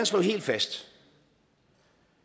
slå helt fast